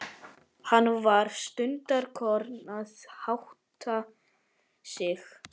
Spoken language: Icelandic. Hann var stundarkorn að átta sig.